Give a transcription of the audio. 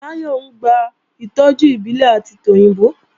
Táyọ̀ ń gba ìtọ́jú ìbílẹ̀ àti tòyìnbó